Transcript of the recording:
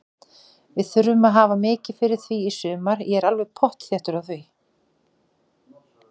Við þurfum að hafa mikið fyrir því í sumar, ég er alveg pottþéttur á því.